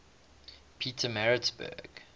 pietermaritzburg